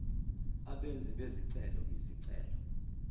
abenzi bezicelo izicelo